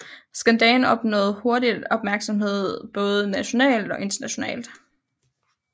Skandalen opnåede hurtigt opmærksomhed både nationalt og internationalt